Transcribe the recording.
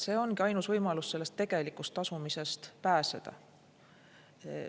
See ongi ainus võimalus tegelikust tasumisest pääseda.